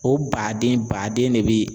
O baden baden de be